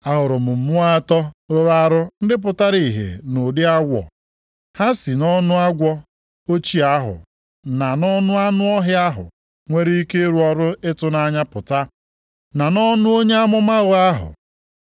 Ahụrụ mmụọ atọ rụrụ arụ ndị pụtara ihe nʼụdịdị awọ, ha si nʼọnụ agwọ ochie ahụ na nʼọnụ anụ ọhịa ahụ nwere ike ịrụ ọrụ ịtụnanya pụta, na nʼọnụ onye amụma ụgha ahụ.